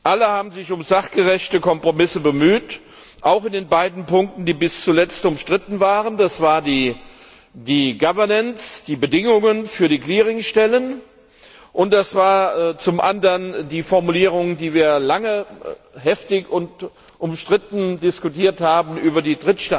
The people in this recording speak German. Alle haben sich um sachgerechte Kompromisse bemüht, auch in den beiden Punkten, die bis zuletzt umstritten waren der Governance, die Bedingungen für die Clearing Stellen, und zum andern der Formulierung, die wir lange heftig und umstritten diskutiert haben, über die